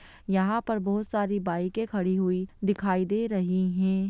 यहाँ पे बहुत सारी बाइके खड़ी हुई दिखाई दे रही हैं।